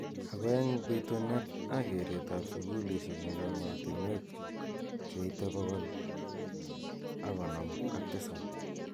Ako eng pi tunet ak keret ab sukulishek eng ematuenuek che ite pokol ako nom ak tisap.